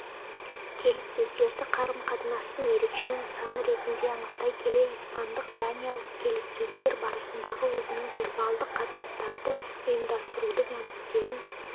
келіссөздерді қарым-қатынастың ерекше нысаны ретінде анықтай келе испандық-даниялық келіссөздер барысындағы өзінің вербалдық қатынастарды ұйымдастырудың әдістерін